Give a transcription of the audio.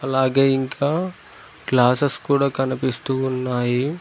అలాగే ఇంకా గ్లాసెస్ కూడా కనిపిస్తూ ఉన్నాయి.